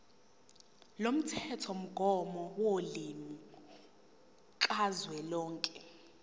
lomthethomgomo wolimi kazwelonke